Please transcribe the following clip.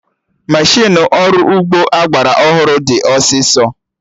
Meshịnụ ọrụ ugbo agbara ọhụrụ dị ọsịsọ